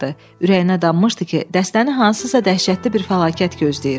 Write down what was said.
Ürəyinə danmışdı ki, dəstəni hansısa dəhşətli bir fəlakət gözləyir.